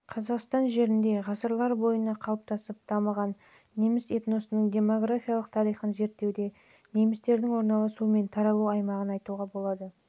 қазақстан жерінде ғасырлар бойына қалыптасып дамыған неміс этносының демографиялық тарихын зерттеуде немістердің орналасу мен таралу аймағы және аймақтар